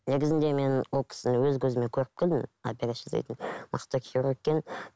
негізінде мен ол кісіні өз көзіммен көріп келдім операция жасайтын мықты хирург екен